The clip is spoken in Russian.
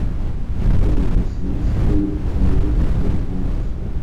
у тебя в запасе есть фильм человек который изменил все